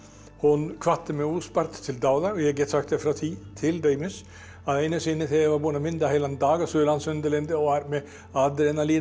hún hvatti mig óspart til dáða ég get sagt þér frá því til dæmis að einu sinni þegar ég var búinn að mynda heilan dag á Suðurlandsundirlendi og var með adrenalínið